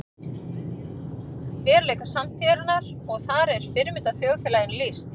Í útópíum eru flest betra en í veruleika samtíðarinnar og þar er fyrirmyndarþjóðfélaginu lýst.